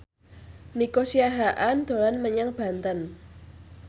Nico Siahaan dolan menyang Banten